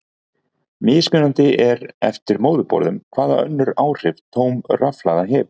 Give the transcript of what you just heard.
Mismunandi er eftir móðurborðum hvaða önnur áhrif tóm rafhlaða hefur.